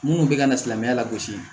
Munnu be ka na silamɛya lagosi